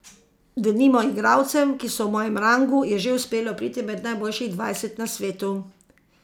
Denimo igralcem, ki so v mojem rangu, je že uspelo priti med najboljših dvajset na svetu.